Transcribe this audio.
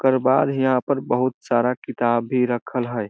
ओकर बाद हियाँ पर बहुत सारा किताब भी रखल हेय।